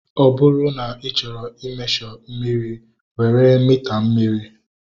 Ọ bụrụ na ị chọrọ i mesho mmiri, were mita mmiri